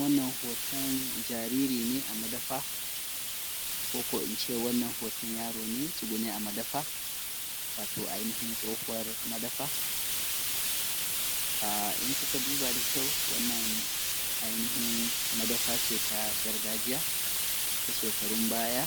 Wannan hoton jariri ne a madafa ko in ce wannan in ce wanna hoton yaro ne a tsugune a madafa. In kuka duba da kyau wannan ainihin madafa ce ta gargajiya ta shekarun baya